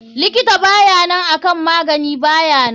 Likitan bayanan akan magani bayanan.